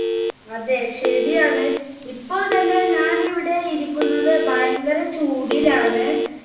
അതെ ശെരിയാണ് ഇപ്പോൾ തന്നെ ഞാൻ ഇവിടെ ഇരിക്കുന്നത് ഭയങ്കര ചൂടിലാണ്.